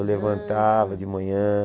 Eu levantava de manhã.